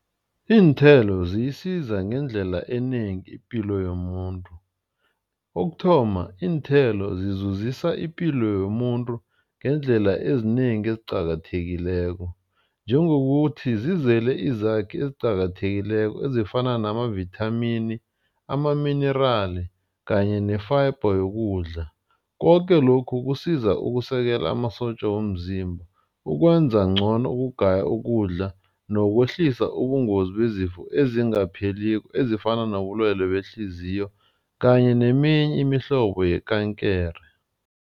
Iinthelo ziyisiza ngendlela enengi ipilo yomuntu. Kokuthoma, iinthelo zizuzisa ipilo yomuntu ngeendlela ezinengi eziqakathekileko. Njengokuthi zizele izakhi eziqakathekileko ezifana namavithamini, amaminirali kanye ne-fiber yokudla. Koke lokhu kusiza ukusekela amasotja womzimba ukwenza ngcono ukugaya ukudla. Nokwehlisa ubungozi bezifo ezingapheliko ezifana nobulwelwe behliziyo kanye neminye imihlobo yekankere.